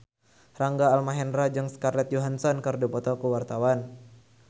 Rangga Almahendra jeung Scarlett Johansson keur dipoto ku wartawan